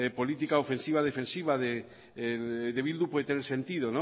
política ofensiva defensiva de bildu puede tener sentido